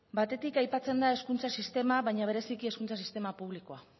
batetik aipatzen da hezkuntza sistema baina bereziki hezkuntza sistema publikoa